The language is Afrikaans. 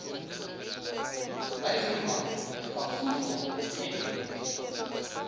hygroman kafoefel m